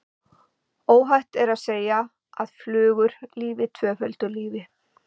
Óhætt er að segja að flugur lifi tvöföldu lífi.